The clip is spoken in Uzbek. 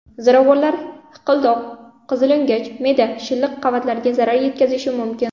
Ziravorlar hiqildoq, qizilo‘ngach, me’da shilliq qavatlariga zarar yetkazishi mumkin.